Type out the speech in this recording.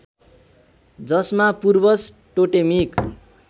जसमा पूर्वज टोटेमिक